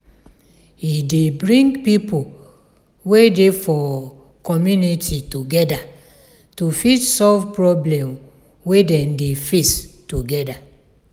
e dey bring pipo wey dey for community together to fit solve problem wey dem dey face together